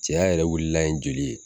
Cɛya yɛrɛ wililan ye joli ye